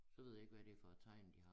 Så ved jeg ikke hvad det for et tegn de har